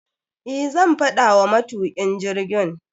Eh, zan faɗa wa matukin jirgin.